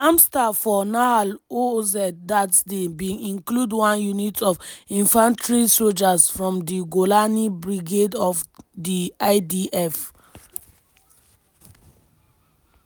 di armed staff for nahal oz dat day bin include one unit of infantry sojas from di golani brigade of di idf.